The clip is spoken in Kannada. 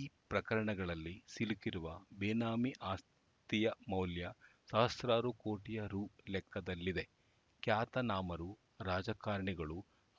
ಈ ಪ್ರಕರಣಗಳಲ್ಲಿ ಸಿಲುಕಿರುವ ಬೇನಾಮಿ ಆಸ್ತಿಯ ಮೌಲ್ಯ ಸಹಸ್ರಾರು ಕೋಟಿ ರು ಲೆಕ್ಕದಲ್ಲಿದೆ ಖ್ಯಾತನಾಮರು ರಾಜಕಾರಣಿಗಳು